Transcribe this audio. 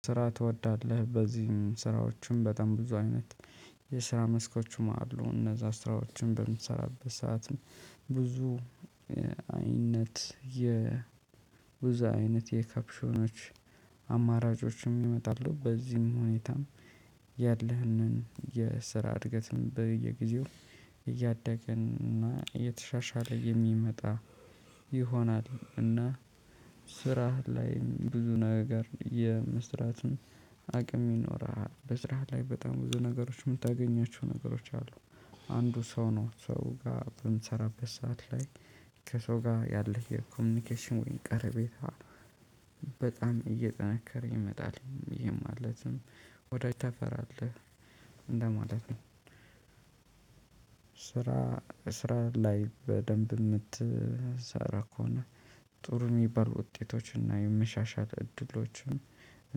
ስራ ትወዳለህ በዚህም ስራዎቹም በጣም ብዙ አይነት የስራ መስኮችም አሉ እነዛ ስራዎችም በምትሰራበት ሰዓት ብዙ አይነት የ ብዙ አይነት የከፕሾኖች አማራጮችም ይመጣሉ። በዚህም ሁኔታም ያለህንን የስራ እድገትን በየጊዜው እያደግን እና እየተሻሻለ የሚመጣ ይሆናል። እና ስራህ ላይ ብዙ ነገር የመስራትን አቅም ይኖርሀል። በስራ ላይ በጣም ብዙ ነገሮች የምታገኛቸው ነገሮች አሉ። አንዱ ሰው ነው ሰው ጋር በምንሰራበት ሰዓት ላይ ከሰው ጋር ያለህ የኮሚኒኬሽን ወይም ቀረቤታ በጣም እየጠነከረ ይመጣል። ይሄ ማለትም ወዳጅ ታፈራለህ እንደማለት ነው። ስራ ስራ ላይ በደንብ የምትሰራ ከሆነ ጥሩ የሚባል ውጤቶችና የመሻሻል እድሎችን